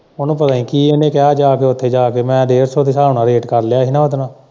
ਉਹਨੂੰ ਪਤਾ ਨੀ ਕੀ ਇਹਨੇ ਕਿਹਾ ਜਾ ਕੇ ਉੱਥੇ ਜਾ ਕੇ ਮੈਂ ਡੇਢ ਸੌ ਦੇ ਹਿਸਾਬ ਨਾਲ਼ ਰੇਟ ਕਰ ਲਿਆ ਸੀ ਉਹਦੇ ਨਾਲ਼।